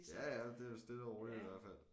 Ja ja det er da stille og roligt i hvert fald